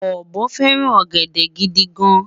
obo feran ogede gidi gan